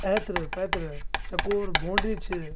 ऐथर-पैथर चकोर बाउंड्री छ।